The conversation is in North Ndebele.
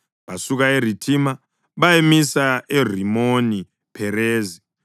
Basuka eRithima bayamisa eRimoni-Pherezi.